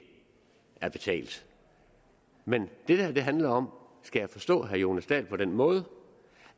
er betalt men er det det handler om skal jeg forstå herre jonas dahl på den måde